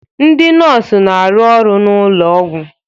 Ndị nọọsụ na-arụ ọrụ n'ụlọ ọgwụ